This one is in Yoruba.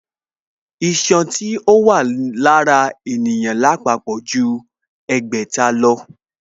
Iṣan tí ó wà lára ènìyàn lápapọ̀ ju ẹgbẹ̀ta lọ